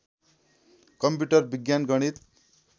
computer विज्ञान गणित